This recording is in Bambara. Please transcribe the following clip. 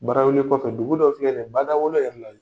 Barawuli kɔfɛ dugu dɔ filɛ ni ye badawolo yɛrɛ la